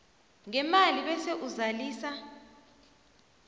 ngemali bese uzalisa